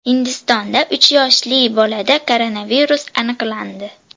Hindistonda uch yoshli bolada koronavirus aniqlandi.